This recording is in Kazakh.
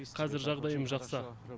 қазір жағдайым жақсы